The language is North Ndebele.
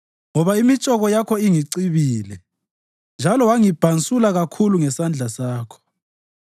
Ngoba imitshoko yakho ingicibile, njalo wangibhansula kakhulu ngesandla sakho.